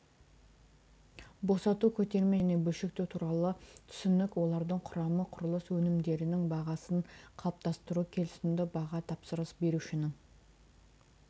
босату көтерме және бөлшектеу туралы түсінік олардың құрамы құрылыс өнімдерінің бағасын қалыптастыру келісімді баға тапсырыс берушінің